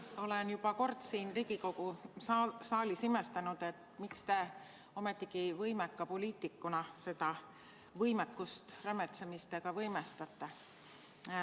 Olen juba kord siin Riigikogu saalis imestanud, miks te ometigi võimeka poliitikuna seda võimekust rämetsemisega võimestate.